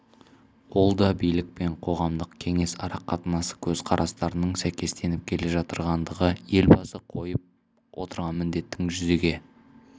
ол да билік пен қоғамдық кеңес арақатынасы көзқарастарының сәйкестеніп келе жатырғандығы елбасы қойып отырған міндеттің жүзеге